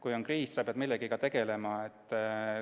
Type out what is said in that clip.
Kui on kriis, siis sa pead millegagi tegelema.